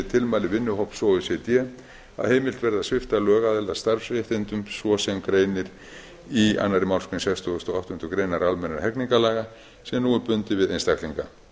tilmæli vinnuhóps o e c d að heimilt verði að svipta lögaðila starfsréttindum svo sem greinir í annarri málsgrein sextugustu og áttundu grein almennra hegningarlaga sem nú er bundið við einstaklinga